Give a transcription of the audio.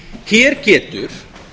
hér getur